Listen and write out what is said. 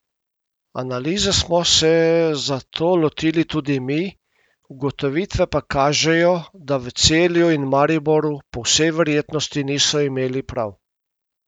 Analize smo se zato lotili tudi mi, ugotovitve pa kažejo, da v Celju in Mariboru po vsej verjetnosti niso imeli prav.